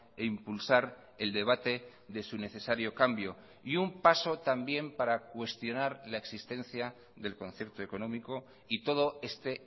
e impulsar el debate de su necesario cambio y un paso también para cuestionar la existencia del concierto económico y todo este